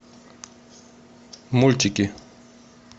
мультики